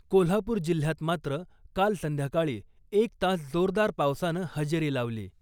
कोल्हापुर जिल्ह्यात मात्र काल संध्याकाळी एक तास जोरदार पावसानं हजेरी लावली .